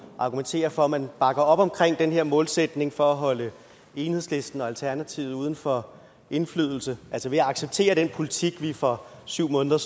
argumenterer for at man bakker op omkring den her målsætning for at holde enhedslisten og alternativet uden for indflydelse altså ved at acceptere den politik vi for syv måneder